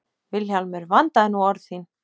VILHJÁLMUR: Vandaðu nú orð þín!